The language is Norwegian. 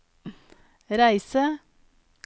reise